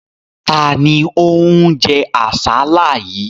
Ta ni ó ń jẹ àsálà yìí?